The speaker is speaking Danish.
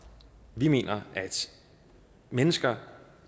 vi mener at mennesker